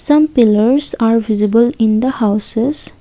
Some pillars are visible in the houses.